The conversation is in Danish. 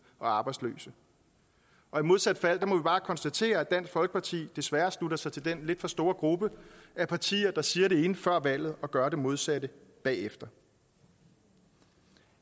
og arbejdsløse og i modsat fald må vi bare konstatere at dansk folkeparti desværre slutter sig til den lidt for store gruppe af partier der siger det ene før valget og gør det modsatte bagefter